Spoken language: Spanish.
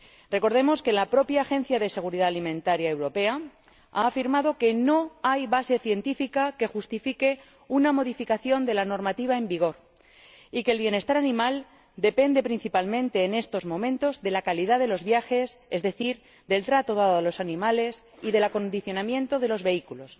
Recordemos que la propia Autoridad Europea de Seguridad Alimentaria ha afirmado que no hay base científica que justifique una modificación de la normativa en vigor y que el bienestar animal depende principalmente en estos momentos de la calidad del viaje, es decir, del trato dado a los animales y del acondicionamiento de los vehículos.